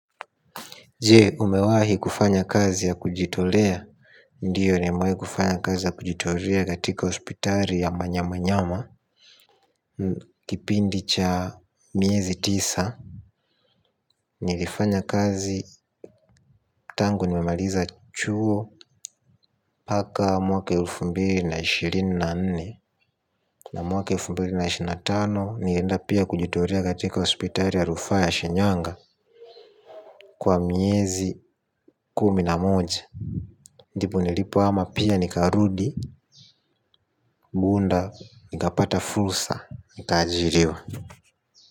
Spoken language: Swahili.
Je, umewahi kufanya kazi ya kujitolea? Ndiyo nimewahi kufanya kazi ya kujitolea katika hospitali ya manyamanyama. Kipindi cha miezi tisa nilifanya kazi tangu nimemaliza chuo mpaka mwaka elfu mbili na ishirini na nne na mwaka elfu mbili na ishirini na tano nilienda pia kujitolea katika hospitali ya rufaa ya Shinyanga kwa miezi kumi na moja. Ndipo nilipohama pia nikarudi Bunda nikapata fursa nikaajiriwa.